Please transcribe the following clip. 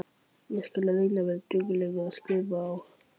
Ég skal reyna að vera dugleg, skrifar hún.